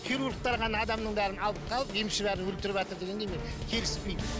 хирургтер ғана адамның барлығын алып қалып емші бәрін өлтіріватыр дегенге мен келіспеймін